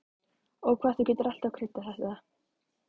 Og hvað þú getur alltaf kryddað þetta!